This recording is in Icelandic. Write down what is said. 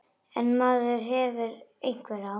En maður hefur einhver ráð.